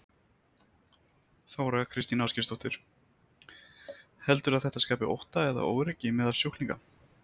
Þóra Kristín Ásgeirsdóttir: Heldurðu að þetta skapi ótta eða óöryggi meðal sjúklinga?